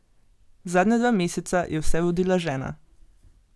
Zadnja dva meseca je vse vodila žena.